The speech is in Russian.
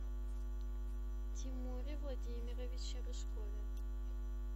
тимуре владимировиче рыжкове